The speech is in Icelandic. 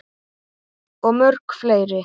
Og mörg fleiri.